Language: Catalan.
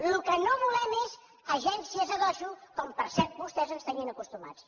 el que no volem és agències a dojo com per cert vostès ens tenien acostumats